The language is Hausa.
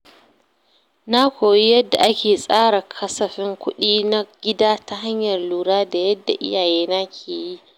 Na koyi yadda ake tsara kasafin kuɗi na gida ta hanyar lura da yadda iyayena ke yi.